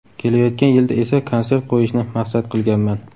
Kelayotgan yilda esa konsert qo‘yishni maqsad qilganman.